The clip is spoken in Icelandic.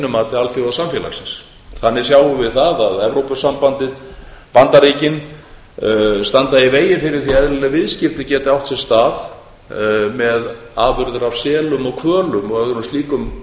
mati alþjóðasamfélagsins þannig sjáum við það að evrópusambandið og bandaríkin standa í vegi fyrir því að eðlileg viðskipti geti átt sér stað með afurðir af selum og hvölum og öðrum slíkum